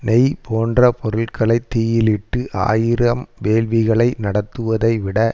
நெய் போன்ற பொருள்களை தீயிலிட்டு ஆயிரம் வேள்விகளை நடத்துவதைவிட